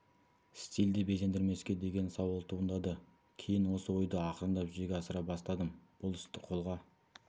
стильде безендірмеске деген сауал туындады кейін осы ойды ақырындап жүзеге асыра бастадым бұл істі қолға